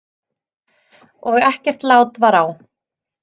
Og ekkert lát var á.